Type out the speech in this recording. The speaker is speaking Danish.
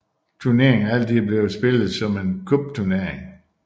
Turneringen er altid blevet spillet som en cupturnering